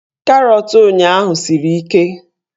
Karọt ụnyaahụ siri ike